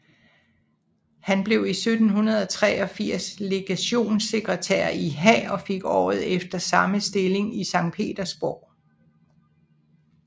Han blev 1783 legationssekretær i Haag og fik året efter samme stilling i Sankt Petersborg